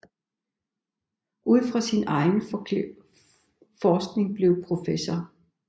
Ud fra sin egen forskning blev prof